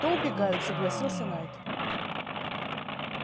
то убегаю согласился найд